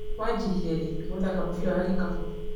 Wanjirie rĩ gũthaka mũbira wa gĩkabũ?